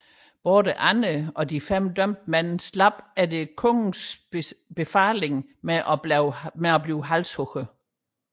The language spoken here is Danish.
Både Anne og de fem dømte mænd slap efter kongens ordre med at blive halshugget